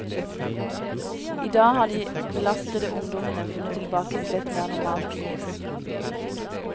I dag har de belastede ungdommene funnet tilbake til et mer normalt liv.